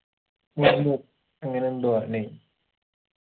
മർമ്മു അങ്ങനെന്തോആ ല്ലെ